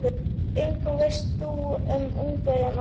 En hvað veist þú um Ungverjana?